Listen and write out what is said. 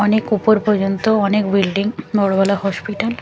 অনেক ওপর পর্যন্ত অনেক বিল্ডিং বড়ো বড়ো হসপিটাল ।